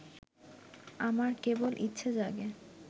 আমার কেবল ইচ্ছে জাগে